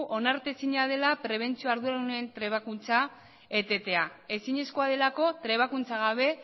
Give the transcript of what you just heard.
onartezina dela prebentzio arduradunen trebakuntza etetea ezinezkoa delako trebakuntza gabe